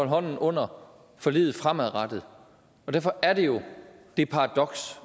hånden under forliget fremadrettet og derfor er der jo det paradoks